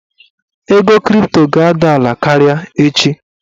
Ego kripto ga-ada ala karịa echi.